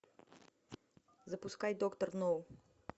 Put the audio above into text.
запускай доктор ноу